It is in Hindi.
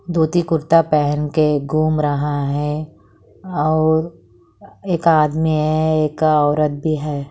धोती कुर्ता पहेन के घूम रहा हैं और एक आदमी हैं एक औरत भी हैं।